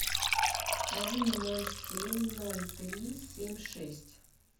один ноль семь ноль три семь шесть